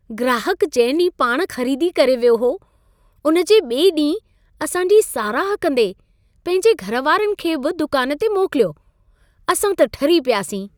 ग्राहक जंहिं ॾींहुं पाण ख़रीदी करे वियो हो, उन जे ॿिए ॾींहुं असां जी साराह कंदे पंहिंजे घर वारनि खे बि दुकान ते मोकिलियो। असां त ठरी पियासीं।